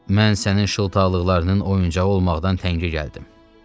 Mən sənin şıltaqlıqlarının oyuncağı olmağa təngə gəldim.